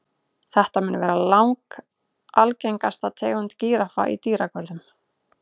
Þetta mun vera langalgengasta tegund gíraffa í dýragörðum.